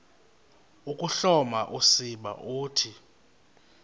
ukuhloma usiba uthi